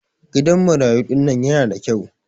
gidan marayu dinnan yanada kyau